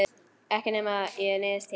Ekki nema ég neyðist til.